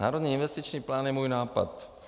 Národní investiční plán je můj nápad.